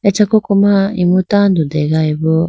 acha koko ma imu tando degayi bo.